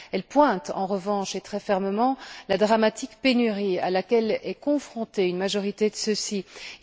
Elle pointe en revanche, et très fermement, la dramatique pénurie à laquelle est confrontée une majorité des États.